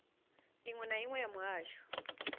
iṅwe na iṅwe ya muhasho